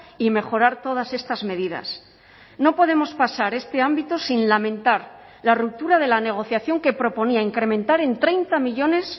y mejorar todas estas medidas no podemos pasar este ámbito sin lamentar la ruptura de la negociación que proponía incrementar en treinta millónes